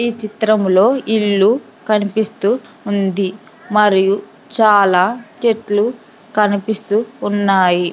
ఈ చిత్రంలో ఇల్లు కనిపిస్తూ ఉంది మరియు చాలా చెట్లు కనిపిస్తూ ఉన్నాయి.